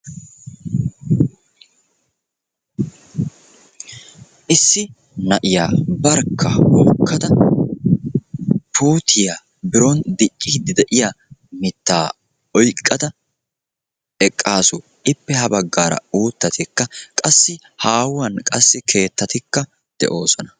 Issi na'iyaa barkka hokkada puutiya biron dicciiddi de'iya mittaa oyqqada eqqaasu. Ippa ha baggaara uuttatikka qassi haahuwan qassi keettatikka de'oosona.